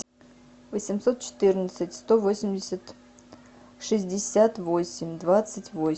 восемьсот четырнадцать сто восемьдесят шестьдесят восемь двадцать восемь